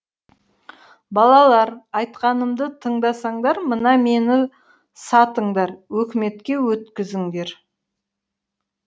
балалар айтқанымды тыңдасаңдар мына мені сатыңдар өкіметке өткізіңдер